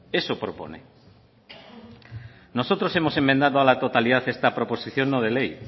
eso propone nosotros hemos enmendado a la totalidad esta proposición no de ley